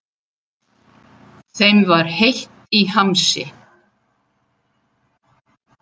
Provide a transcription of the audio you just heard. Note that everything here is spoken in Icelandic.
Þeim var heitt í hamsi.